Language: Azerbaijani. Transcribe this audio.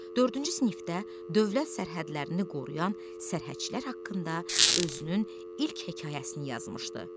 Dördüncü sinifdə dövlət sərhədlərini qoruyan sərhədçilər haqqında özünün ilk hekayəsini yazmışdı.